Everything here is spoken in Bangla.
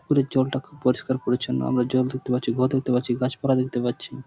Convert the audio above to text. পুকুরের জলটা খুব পরিষ্কার পরিচ্ছন্ন আমরা জল দেখতে পাচ্ছি ঘর দেখতে পাচ্ছি গাছ পালা দেখতে পাচ্ছি।